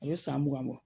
A bɛ san mugan bɔ